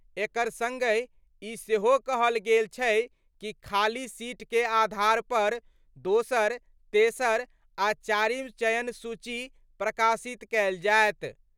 एकर संगहि ई सेहो कहल गेल छै कि खाली सीट के आधार पर दोसर, तेसर आ चारिम चयन सूची प्रकाशित कयल जाएत।